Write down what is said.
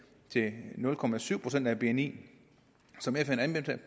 til nul procent procent af bni som fn